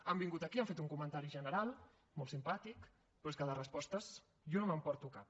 han vingut aquí han fet un comentari general molt simpàtic però és que de respostes jo no me’n emporto cap